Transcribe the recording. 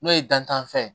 N'o ye dantan fɛn ye